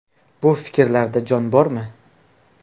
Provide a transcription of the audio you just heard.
Bu fikrlarda jon bormi?